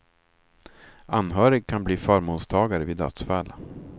Anhörig kan bli förmånstagare vid dödsfall.